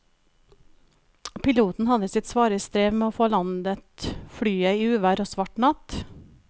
Piloten hadde sitt svare strev med å få landet flyet i uvær og svart natt.